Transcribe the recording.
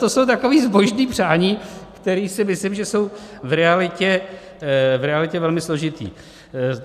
To jsou taková zbožná přání, která si myslím, že jsou v realitě velmi složitá.